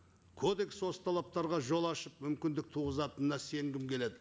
кодекс осы талаптарға жол ашып мүмкіндік туғызатынына сенгім келеді